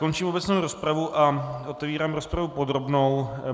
Končím obecnou rozpravu a otevírám rozpravu podrobnou.